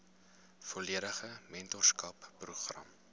volledige mentorskap program